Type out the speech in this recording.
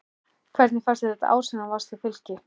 Hvernig fannst þér þetta ár sem þú varst hjá Fylki?